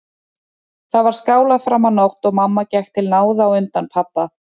Þar var skálað fram á nótt og mamma gekk til náða á undan pabba.